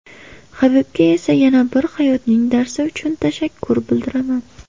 Habibga esa yana bir hayotning darsi uchun tashakkur bildiraman.